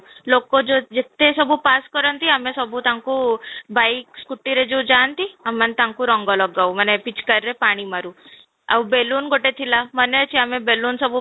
ଲୋକ ଯେତେ ସବୁ ପାସ କରନ୍ତି ଆମେ ସବୁ ତାଙ୍କୁ bike scooty ଯୋଉ ଯାଆନ୍ତି ଆମେ ମାନେ ତାଙ୍କୁ ରଙ୍ଗ ଲଗାଉ ମାନେ ପିଚକାରୀରେ ପାଣି ମାରୁ, ଆଉ ବେଲୁନ ଗୋଟେ ଥିଲା ମାନେ ଅଛି ଆମେ ବେଲୁନ ସବୁ